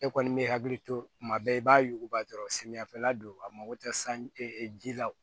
E kɔni bɛ hakili to kuma bɛɛ i b'a yuguba dɔrɔn samiyɛ fɛla don a mago tɛ san ji la